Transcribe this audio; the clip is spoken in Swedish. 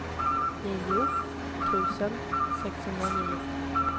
nio tusen sexhundranio